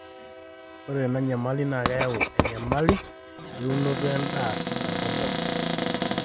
ore ena nyamali naa keyau enyamali elaunoto edaa te nkop pookin